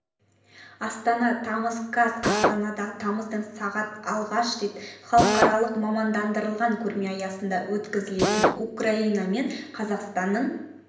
астана тамыз қаз асанада тамыздың сағат алғаш рет халықаралық мамандандырылған көрме аясында өткізілетін украина мен қазақстанның